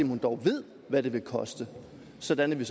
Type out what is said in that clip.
hun dog ved hvad det vil koste sådan at vi